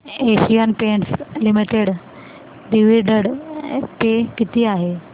Asian Paints limited dividend pay किती आहे